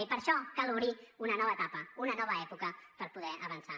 i per això cal obrir una nova etapa una nova època per poder avançar